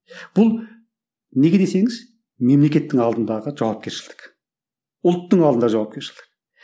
бұл неге десеңіз мемлекеттің алдындағы жауапкершілік ұлттың алдында жауапкершілік